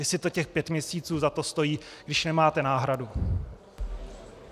Jestli to těch pět měsíců za to stojí, když nemáte náhradu.